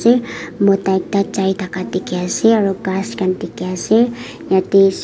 mota ekta jai daka diki ase aro kas kan diki ase yete.